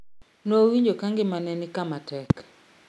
Nowinjo ka ngima ne ni kama tek